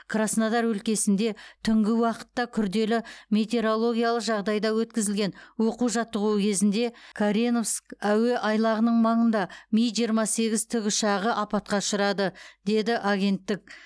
краснодар өлкесінде түнгі уақытта күрделі метеорологиялық жағдайда өткізілген оқу жаттығуы кезінде кореновск әуе айлағының маңында ми жиырма сегіз тікұшағы апатқа ұшырады деді агенттік